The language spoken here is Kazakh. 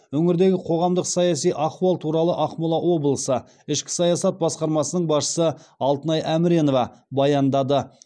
өңірдегі қоғамдық саяси ахуал туралы ақмола облысы ішкі саясат басқармасының басшысы алтынай әміренова баяндады